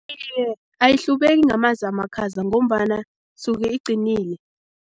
Iye, ayihlubeki ngamanzi amakhaza ngombana suke icinile.